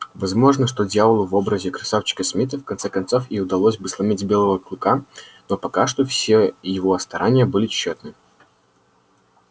возможно что дьяволу в образе красавчика смита в конце концов и удалось бы сломить белого клыка но пока что все его старания были тщетны